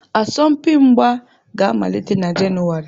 Asọmpi mgba ga-amalite na Jenụwarị.